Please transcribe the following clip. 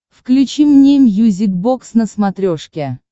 включи мне мьюзик бокс на смотрешке